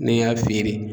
N'i y'a feere